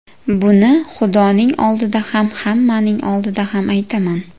Buni Xudoning oldida ham, hammaning oldida ham aytaman.